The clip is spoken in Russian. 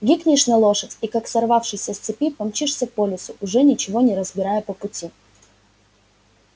гикнешь на лошадь и как сорвавшийся с цепи помчишься по лесу уже ничего не разбирая по пути